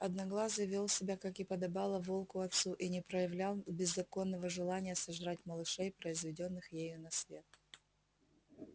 одноглазый вёл себя как и подобало волку отцу и не проявлял беззаконного желания сожрать малышей произведённых ею на свет